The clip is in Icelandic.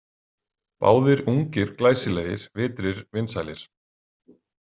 Báðir ungir, glæsilegir, vitrir, vinsælir.